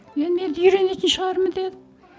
енді мен үйренетін шығармын дедім